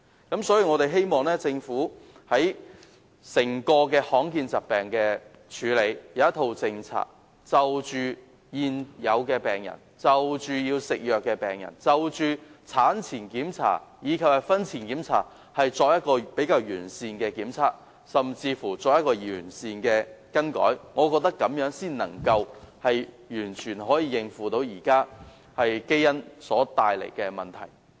因此，我們希望政府可以制訂一套政策，處理罕見疾病，而對於現有病人、要服藥的病人，以及產前檢查及婚前檢查，我們亦希望政府能提供完善的檢測，甚至進行完善的更改，這樣才能夠應付現在基因疾病所帶來的問題。